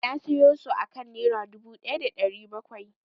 Na sayo su akan Nera dubu ɗaya da ɗari bakwai.